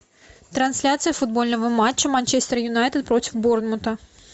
трансляция футбольного матча манчестер юнайтед против борнмута